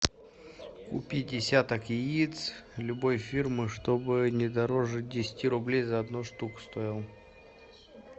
купи десяток яиц любой фирмы чтобы не дороже десяти рублей за одну штуку стоил